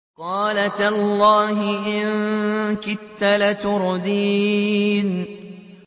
قَالَ تَاللَّهِ إِن كِدتَّ لَتُرْدِينِ